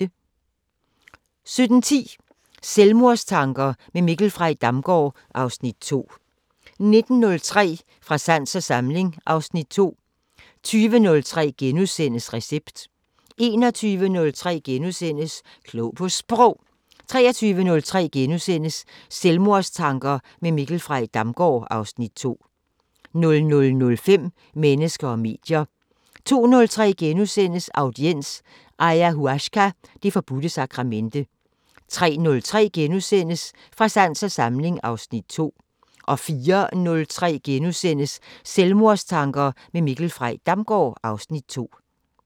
17:10: Selvmordstanker med Mikkel Frey Damgaard (Afs. 2) 19:03: Fra sans og samling (Afs. 2) 20:03: Recept * 21:03: Klog på Sprog * 23:03: Selvmordstanker med Mikkel Frey Damgaard (Afs. 2)* 00:05: Mennesker og medier 02:03: Audiens: Ayahuasca- det forbudte sakramente * 03:03: Fra sans og samling (Afs. 2)* 04:03: Selvmordstanker med Mikkel Frey Damgaard (Afs. 2)*